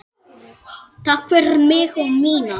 Takk fyrir mig og mína.